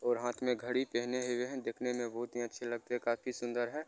और हाथ में घड़ी पहने हुए है। देखने में बहुत ही अच्छे लगते है काफी सुन्दर है।